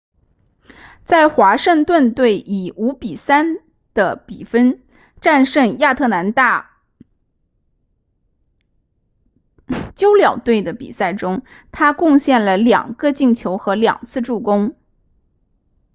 在华盛顿队以 5-3 的比分战胜亚特兰大鸫鸟队的比赛中他贡献了2个进球和2次助攻